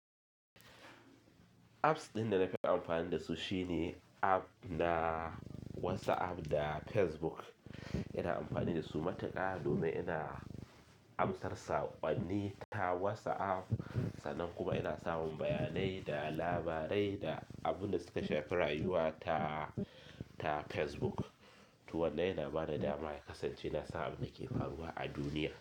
Apps ɗin da na fi amfani da su shine app na WhatsApp da Facebook. Ina amfani da su mataka domin ina amsar saƙonni ta WhatsApp sannan kuma ina samun bayanai da labarai da abin da suka shafi rayuwa ta, ta Facebook. To wannan yana ba ni damar ya kasance na san abin da ke faruwa a duniya.